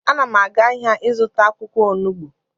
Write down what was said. Ana m aga ahịa ịzụta akwụkwọ onugbu